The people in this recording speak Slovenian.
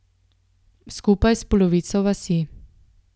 Skupaj s polovico vasi.